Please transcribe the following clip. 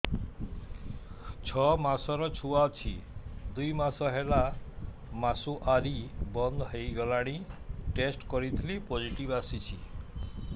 ଛଅ ମାସର ଛୁଆ ଅଛି ଦୁଇ ମାସ ହେଲା ମାସୁଆରି ବନ୍ଦ ହେଇଗଲାଣି ଟେଷ୍ଟ କରିଥିଲି ପୋଜିଟିଭ ଆସିଛି